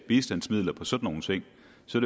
så